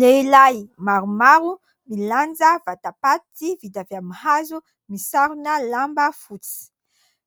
Lehilahy maromaro milanja vatapaty vita avy amin'ny hazo misarona lamba fotsy.